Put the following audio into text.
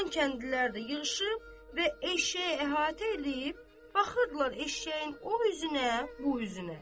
Qalan kəndlilər də yığışıb və eşşəyi əhatə eləyib baxırdılar eşşəyin o üzünə, bu üzünə.